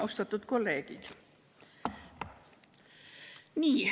Austatud kolleegid!